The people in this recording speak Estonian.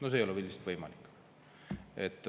See ei ole lihtsalt võimalik.